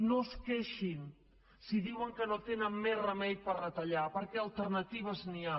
no es queixin si diuen que no tenen més remei per retallar perquè d’alternatives n’hi ha